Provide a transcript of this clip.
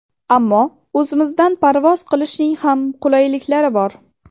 Ammo o‘zimizdan parvoz qilishning ham qulayliklari bor.